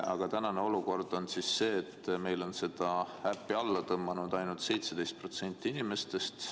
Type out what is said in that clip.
Aga tänane olukord on selline, et meil on seda äppi alla tõmmanud ainult 17% inimestest.